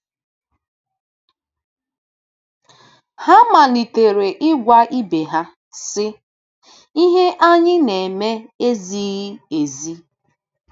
Ha malitere ịgwa ibe ha, sị: “Ihe anyị na-eme ezighị ezi.